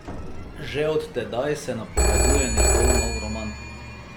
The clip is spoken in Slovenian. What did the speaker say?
Že od tedaj se napoveduje njegov nov roman.